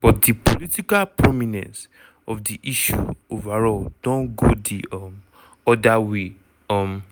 but di political prominence of di issue overall don go di um oda way. um